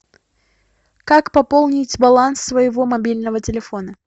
как пополнить баланс своего мобильного телефона